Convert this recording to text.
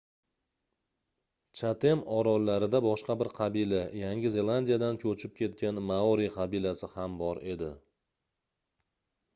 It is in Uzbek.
chatem orollarida boshqa bir qabila yangi zelandiyadan koʻchib ketgan maori qabilasi ham bor edi